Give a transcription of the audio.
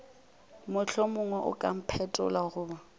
mohlomongwe o ka mphetlolla goba